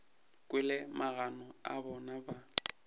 kwele magano a bona ba